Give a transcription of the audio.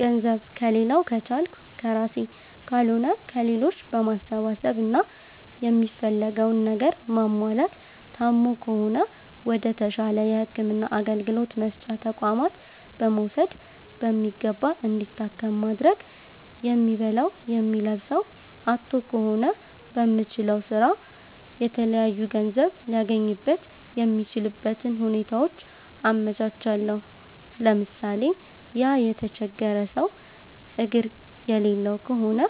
ገንዘብ ከሌላዉ ከቻልኩ ከራሴ ካልሆነ ከሌሎች በማሰባሰብ እና የሚፈልገዉን ነገር ማሟላት ታሞ ከሆነ ወደ ተሻለ የህክምና አገልግሎት መስጫ ተቋማት በመዉሰድ በሚገባ እንዲታከም ማድረግ የሚበላዉ የሚለብሰዉ አጥቶ ከሆነ በሚችለዉ ስራ የተለያዩ ገንዘብ ሊያገኝበት የሚችልበትን ሁኔታዎች አመቻቻለሁ ለምሳሌ፦ ያ የተቸገረ ሰዉ አግር የሌለዉ ከሆነ